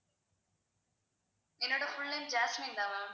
என்னோட full name Jasmine தான் ma'am